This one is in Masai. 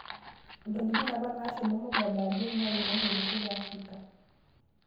Ntokitin apa nashomo MUgabe ajo naimaki olosho le Afarika